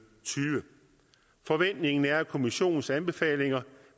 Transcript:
forventningen er at kommissionens anbefalinger